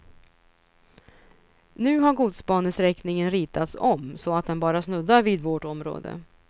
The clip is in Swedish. Nu har godsbanesträckningen ritats om så att den bara snuddar vid vårt område.